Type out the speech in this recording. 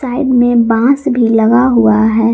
Side में बांस भी लगा हुआ है।